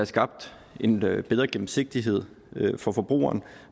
skabt en bedre gennemsigtighed for forbrugeren